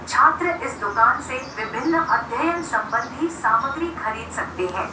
छात्र इस दुकान से विभिन्न अध्ययन संबंधी सामग्री खरीद सकते हैं।